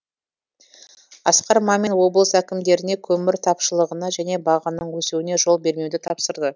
асқар мамин облыс әкімдеріне көмір тапшылығына және бағаның өсуіне жол бермеуді тапсырды